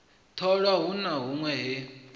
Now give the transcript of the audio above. tholwa hu na hunwe he